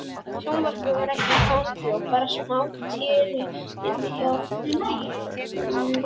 Sjónvarpið var ekki í gangi og bara smátíra inni hjá